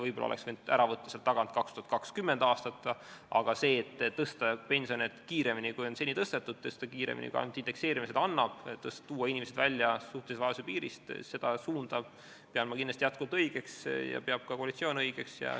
Võib-olla oleks võinud sealt tagant ära võtta 2020. aasta, aga seda, et tõsta pensione kiiremini, kui on seni tõstetud, tõsta kiiremini, kui ainult indekseerimine seda võimaldab, tuua inimesed välja suhtelisuse vaesuse piiri alt, seda suunda pean ma kindlasti õigeks ja seda peab ka koalitsioon õigeks.